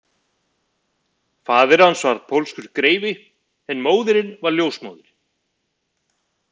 Faðir hans var pólskur greifi en móðirin var ljósmóðir